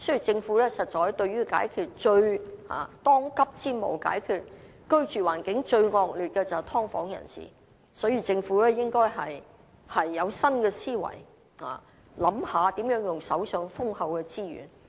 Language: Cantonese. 政府當務之急，是協助居住環境最惡劣的"劏房人士"，所以政府應以新思維，考慮如何利用手上豐厚的資源。